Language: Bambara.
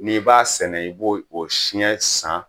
N'i b'a sɛnɛ i b'o o siɲɛ san